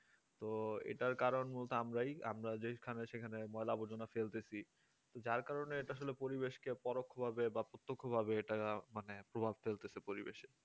তো এটার কারণ মূলত আমরাই আমরা যেখানে সেখানে ময়লা আবর্জনা ফেলতেছি তোর যার কারণে পরিবেশটাকে পরোক্ষভাবে বা প্রত্যক্ষভাবে এটাকে মানে প্রভাব ফেলতেছে পরিবেশে